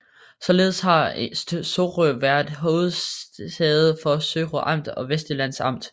Således har Sorø været hovedsæde for Sorø Amt og Vestsjællands Amt